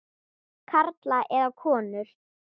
Karla eða konur.